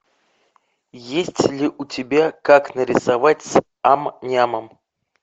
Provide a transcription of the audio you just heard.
есть ли у тебя как нарисовать с ам нямом